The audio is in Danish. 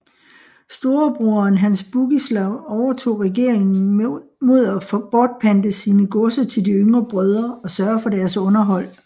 Storebroderen Hans Bugislav overtog regeringen mod at bortpante sine godser til de yngre brødre og sørge for deres underhold